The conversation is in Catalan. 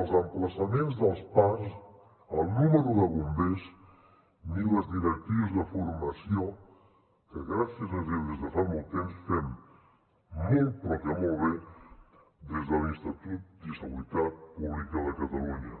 els emplaçaments dels parcs el número de bombers ni les directrius de formació que gràcies a déu des de fa molt temps fem molt però que molt bé des de l’institut de seguretat pública de catalunya